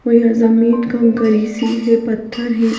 कोई यहाँ जमीन का गरीसीय है पत्थर है.